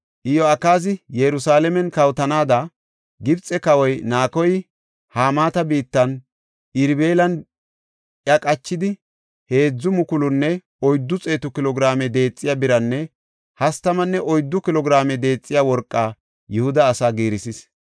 Iyo7akaazi Yerusalaamen kawotennaada Gibxe Kawoy Naakoy Hamaata biittan Irbilan iya qachidi heedzu mukulunne oyddu xeetu kilo giraame deexiya biranne hastamanne oyddu kilo giraame deexiya worqa Yihuda asaa giirisis.